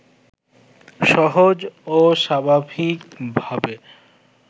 সহজ ও স্বাভাবিক ভাবে